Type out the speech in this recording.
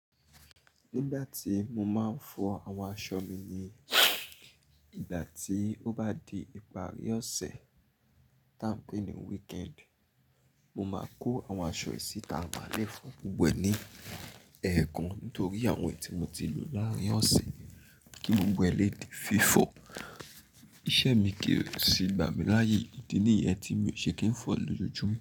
Nígbà tí mo máa ń fọ àwọn aṣọ mi ni ìgbà tí ó bá di ìparí ọ̀sẹ̀ tá a ń pè ní weekend, mo máa kó àwọn aṣọ yìí síta maá lẹ́ fọ̀ gbogbo é ní ẹ̀ẹ̀kan nítorí àwọn èyí tí mo ti lò láàárín ọ̀sẹ̀ kí gbogbo e lè di fífo. Iṣẹ́ mi kì o sì gba mi láàyè, ìdí nìyẹn tí mi ò ṣe kí n fọ lójoójúmọ́